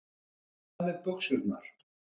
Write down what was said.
Ánægð með buxurnar.